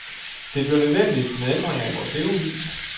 Det bliver nødvendigt med ændringer i vores levevis.